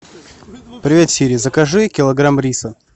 привет сири закажи килограмм риса